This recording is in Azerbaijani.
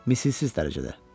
Misilsiz dərəcədə.